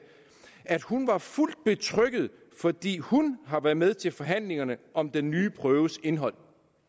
at hun var fuldt betrygget fordi hun har været med til forhandlingerne om den nye prøves indhold